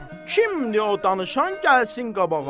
Kimdir o danışan, gəlsin qabağa.